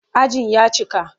Ajin ya cika.